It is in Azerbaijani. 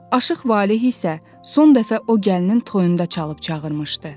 Aşıq Valeh isə son dəfə o gəlinin toyunda çalıb çağırmışdı.